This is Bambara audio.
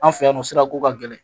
An fɛ yan nɔ sirako ka gɛlɛn